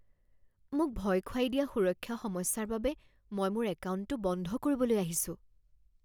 মোক ভয় খুৱাই দিয়া সুৰক্ষা সমস্যাৰ বাবে মই মোৰ একাউণ্টটো বন্ধ কৰিবলৈ আহিছোঁ